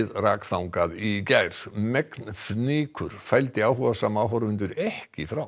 rak þangað í gær megn fnykur fældi áhugasama áhorfendur ekki frá